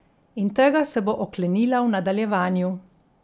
In tega se bo oklenila v nadaljevanju.